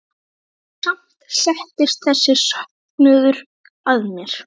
Og samt settist þessi söknuður að mér.